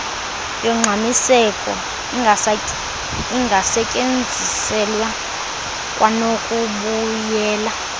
yongxamiseko ingasetyenziselwa kwanokubuyela